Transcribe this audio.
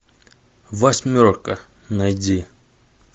восьмерка найди